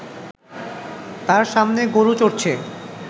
তার সামনে গরু চড়ছে